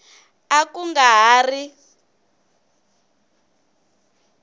a ku nga ha ri